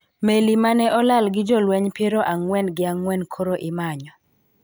Meli ma ne olal gi jolweny piero ang'wen gi ang'wen koro imanyo